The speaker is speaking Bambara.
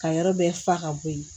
Ka yɔrɔ bɛɛ fa ka bɔ ye